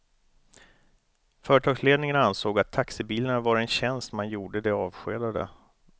Företagsledningen ansåg att taxibilarna var en tjänst man gjorde de avskedade.